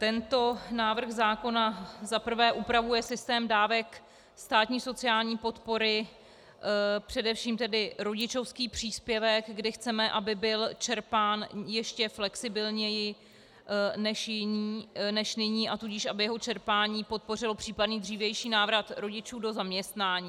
Tento návrh zákona za prvé upravuje systém dávek státní sociální podpory, především tedy rodičovský příspěvek, kdy chceme, aby byl čerpán ještě flexibilněji než nyní, a tudíž aby jeho čerpání podpořilo případný dřívější návrat rodičů do zaměstnání.